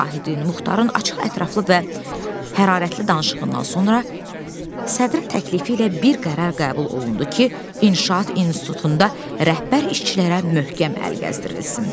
Vahidin Muxtarın açıq, ətraflı və hərarətli danışığından sonra sədrin təklifi ilə bir qərar qəbul olundu ki, inşaat institutunda rəhbər işçilərə möhkəm əl gəzdirilsin.